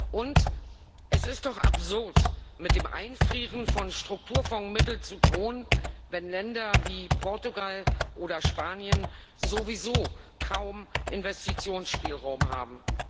Und es ist doch absurd, mit dem Einfrieren von Strukturfondsmitteln zu drohen, wenn Länder wie Portugal oder Spanien sowieso kaum Investitionsspielraum haben.